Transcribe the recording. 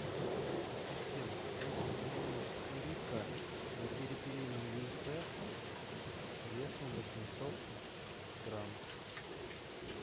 ассистент нужен майонез рикко на перепелином яйце весом восемьсот грамм